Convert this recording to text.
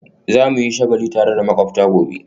Za mu yi shagali tare da makwabta gobe